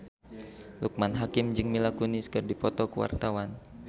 Loekman Hakim jeung Mila Kunis keur dipoto ku wartawan